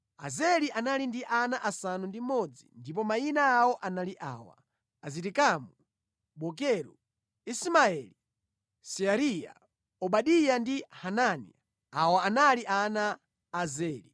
Azeli anali ndi ana asanu ndi mmodzi ndipo mayina awo anali awa: Azirikamu, Bokeru, Ismaeli, Seariya, Obadiya ndi Hanani. Awa anali ana a Azeli.